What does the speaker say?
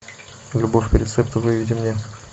любовь по рецепту выведи мне